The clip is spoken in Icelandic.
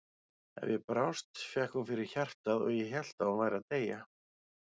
Ef ég brást fékk hún fyrir hjartað og ég hélt að hún væri að deyja.